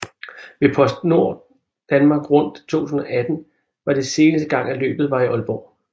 Ved PostNord Danmark Rundt 2018 var det seneste gang at løbet var i Aalborg